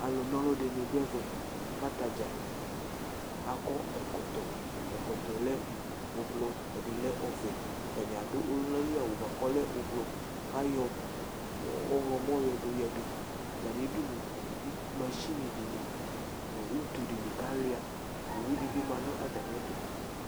alu na ɔlu di du ɛvɛ, ku ata dza akɔ ɛkɔtɔ, ɛkɔtɔ yɛ lɛ ublu, ɛdi lɛ ɔvɛ, ata ni adu ɔluna li awu bʋa ku ɔlɛ ublu, ku ayɔ ɔwlɔmɔ yɔ du yadu, ata ni du nu masini di ni nu utu di ni ku alʋa , owu di bi ma nu ata mi ɛtu